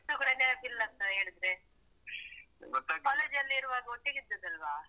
ಇಷ್ಟೂ ಕೂಡ ನೆನಪಿಲ್ಲಾಂತ ಹೇಳಿದ್ರೆ ಕಾಲೇಜಲ್ಲಿರುವಾಗ ಒಟ್ಟಿಗೆ ಇದ್ದದ್ದಲ್ವಾ.